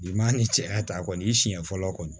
Bi maa ni cɛya ta kɔni i siɲɛ fɔlɔ kɔni